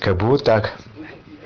как бы вот так